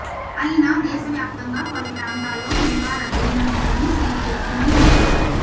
అయినా దేశవ్యాప్తంగా పలు ప్రాంతాల్లో ఇంకా రద్దయిన నోట్లను సీజ్ చేస్తూనే ఉన్నారు